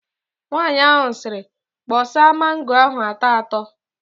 Nwaanyị ahụ sịrị, "kpọsa mango ahụ atọ atọ"!